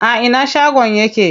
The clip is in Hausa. A ina shagon yake?